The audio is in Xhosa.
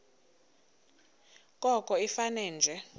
koko ifane nje